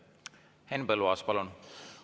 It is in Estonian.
Henn Põlluaas, palun!